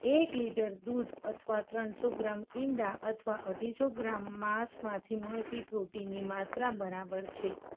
એક લીટર દૂધ અથવા ત્રણસો ગ્રામ ઈંડા અથવા અઢીસો ગ્રામ માસમાંથી મળતું protein ની માત્રા બરાબર છે.